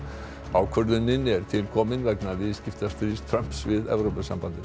ákvörðunin er til komin vegna viðskiptastríðs Trumps við Evrópusambandið